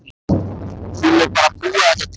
Hún er bara að búa þetta til.